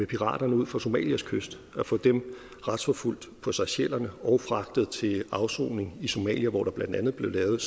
piraterne ud for somalias kyst retsforfulgt på seychellerne og fragtet til afsoning i somalia hvor det blandt andet blev lavet